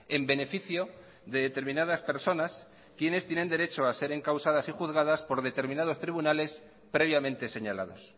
en beneficio de determinadas personas quienes tienen derecho a ser encausadas y juzgadas por determinados tribunales previamente señalados